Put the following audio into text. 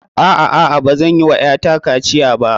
A'a, a'a. Bazan yi wa ƴata kaciya ba.